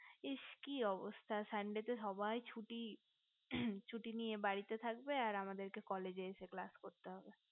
ইস কি অবস্থা sunday তে সবাই ছুটি ছুটি নিয়ে বাড়িতে থাকবে আর আমাদেরকে college এসে class করতে হবে